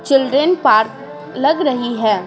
Children park लग रही है।